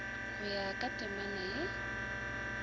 go ya ka temana ye